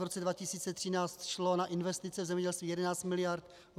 V roce 2013 šlo na investice v zemědělství 11 mld.